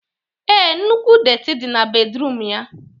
Ee, nnukwu detị dị na bedruum ya